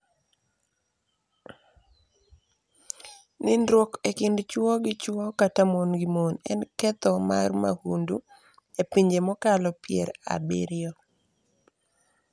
Nindruok e kind chwo gi chwo kata mon gi mon en ketho mar mahundu e pinje mokalo pier abiriyo